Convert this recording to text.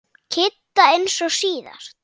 Kidda eins og síðast.